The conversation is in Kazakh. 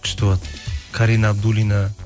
күшті болады карина абдуллина